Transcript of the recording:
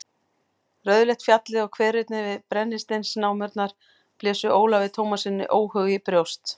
Rauðleitt fjallið og hverirnir við brennisteinsnámurnar blésu Ólafi Tómassyni óhug í brjóst.